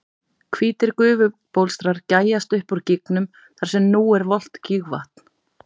Hvítir gufubólstrar gægjast upp úr gígnum þar sem nú er volgt gígvatn.